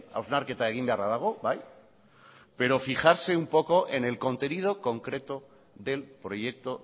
hausnarketa egin beharra dago bai pero fijarse un poco en el contenido concreto del proyecto